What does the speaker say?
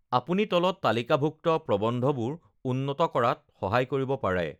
আপুনি তলত তালিকাভুক্ত প্ৰবন্ধবোৰ উন্নত কৰাত সহায় কৰিব পাৰে!